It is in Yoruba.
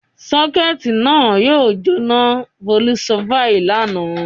"Sọ́kẹ́tì náà yóò jóná!" Bólú sọ báyìí lánàá.